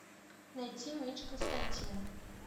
найти меч константина